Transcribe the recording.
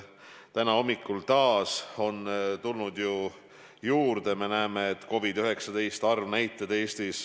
Täna hommikul on tulnud COVID-19 puudutavaid arve juurde.